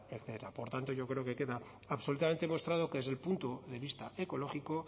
etcétera por tanto yo creo que queda absolutamente demostrado que desde el punto de vista ecológico